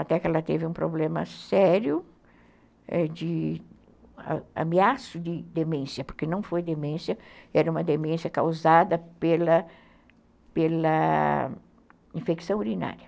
até que ela teve um problema sério de ameaça de demência, porque não foi demência, era uma demência causada pela pela infecção urinária.